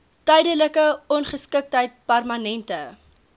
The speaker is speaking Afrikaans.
tydelike ongeskiktheid permanente